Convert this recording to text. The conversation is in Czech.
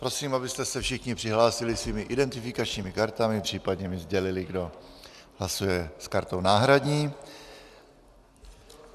Prosím, abyste se všichni přihlásili svými identifikačními kartami, případně mi sdělili, kdo hlasuje s kartou náhradní.